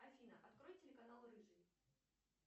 афина открой телеканал рыжий